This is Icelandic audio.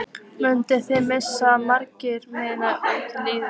Munið þið missa marga menn úr liðinu?